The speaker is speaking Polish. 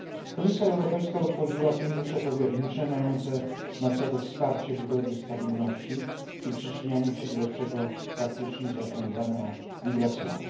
Komisja Europejska utworzyła fundusze powiernicze mające na celu wsparcie budowy stabilności i przyczynianie się do lepszego praktycznie zarządzania migracjami.